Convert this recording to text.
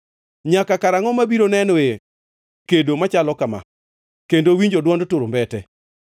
Nyaka karangʼo mabiro nenoe kedo machalo kama, kendo winjo dwond turumbete?